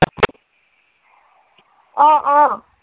অ, অ।